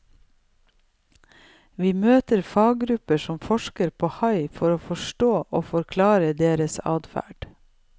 Vi møter faggrupper som forsker på hai for å forstå og forklare deres adferd.